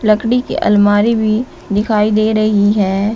लकड़ी की अलमारी भी दिखाई दे रही है।